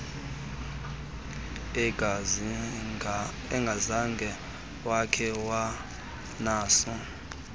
engazange wakhe wanaso